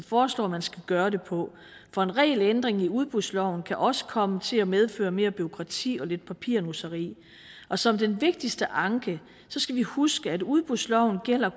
foreslår man skal gøre det på for en regelændring i udbudsloven kan også komme til at medføre mere bureaukrati og lidt papirnusseri og som den vigtigste anke skal vi huske at udbudsloven